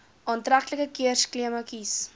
aantreklike kleurskema kies